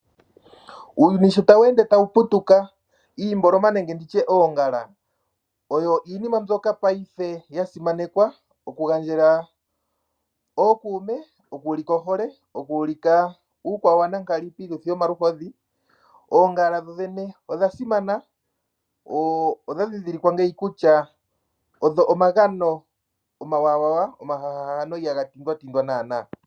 Uuyuni sho tawu ende tawu putuka iimboloma nenge nditye oongala oyo iinima mbyoka ngashingeyi yasimanekwa okugandja kookume okuulika ohole, okuulika uukwawanankali piituthi yoluhodhi. Oongala dho dhene odha simana odha ndhindhilikwa ngeyi kutya odho omagano omwaanawa no ihaga tindwa naana.